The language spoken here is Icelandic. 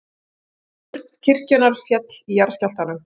Turn kirkjunnar féll í jarðskjálftanum